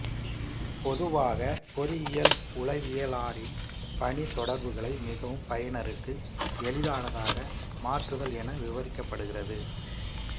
பொதுவாக பொறியியல் உளவியலாளரின் பணி தொடர்புகளை மிகவும் பயனருக்கு எளிதானதாக மாற்றுதல் என விவரிக்கப்படுகிறது